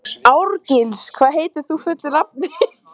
Árgils, hvað heitir þú fullu nafni?